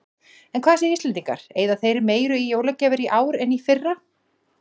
En hvað segja Íslendingar, eyða þeir meiru í jólagjafir í ár en í fyrra?